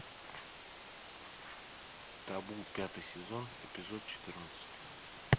табу пятый сезон эпизод четырнадцать